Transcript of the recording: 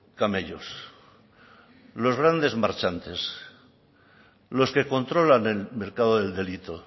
camellos los grandes marchantes los que controlan el mercado del delito